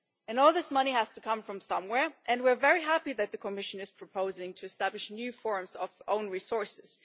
All this money has to come from somewhere, and we are very happy that the Commission is proposing to establish new forms of own resources.